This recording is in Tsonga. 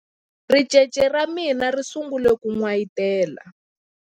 ricece ra mina ri sungule ku n'wayitela